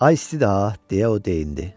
Ay istidi ha deyə o deyindi.